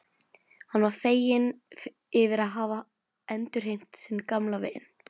Hann var feginn yfir að hafa endurheimt sinn gamla vin.